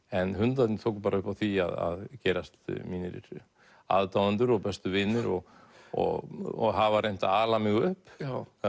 en hundarnir tóku bara upp á því að gerast mínir aðdáendur og bestu vinir og og hafa reynt að ala mig upp